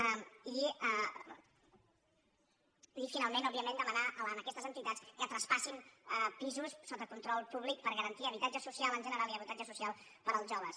i finalment òbviament demanar a aquestes entitats que traspassin pisos sota control públic per garantir habitatge social en general i habitatge social per als joves